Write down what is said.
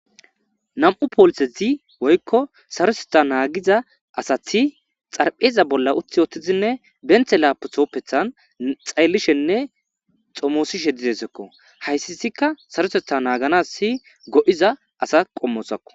Nam7u poolisezi woykko saroseta naagiza asati xarpheza bolla uthi ootizinne benthe laapo tooppethan xayllishenne xomoosishe dizesekko hayssi isikka sarosetha naaganas si go7iza asa qommosakko.